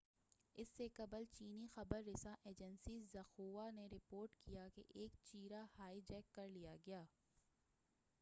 اس سے قبل چینی خبر رساں ایجنسی ژنخوا نے رپورٹ کیا کہ ایک چیارہ ہائی جیک کر لیا گیا